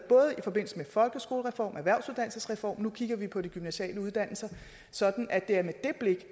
i forbindelse med folkeskolereformen og erhvervsuddannelsesreform og nu kigger vi på de gymnasiale uddannelser sådan at det er med det blik